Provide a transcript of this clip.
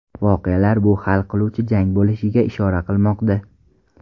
Voqealar bu hal qiluvchi jang bo‘lishiga ishora qilmoqda.